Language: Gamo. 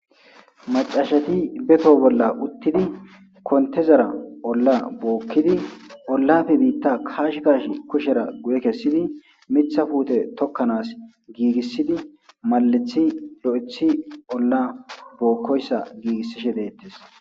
Macashati be too bolla uttidi kontezara olla bookkidi ollafe biitta kaashi kashi kushera guye kessidi miiththa puute tokkanas giigissidi maalethi lo'eththi olla bookkoyssa giigissishe deettes